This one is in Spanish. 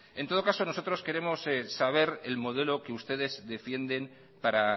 en todo caso nosotros queremos saber el modelo que ustedes defienden para